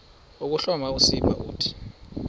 ukuhloma usiba uthi